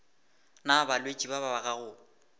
na balwetši ba ba gago